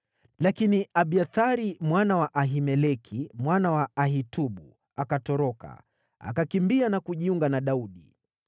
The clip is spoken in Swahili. Lakini Abiathari, mwana wa Ahimeleki, mwana wa Ahitubu, akatoroka, akakimbia na kujiunga na Daudi.